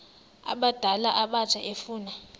abadala abatsha efuna